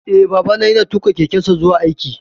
Eh, Babana ya na tuƙa kekensa zuwa aiki